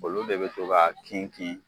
olu de be to k'a kin kin